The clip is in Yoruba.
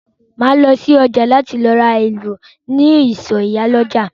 Máa lọ si ọjà láti ra èlò ní ìsọ̀ ìyálọ́jà.